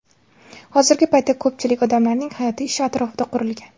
Hozirgi paytda ko‘pchilik odamlarning hayoti ish atrofida qurilgan.